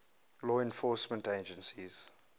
law enforcement agencies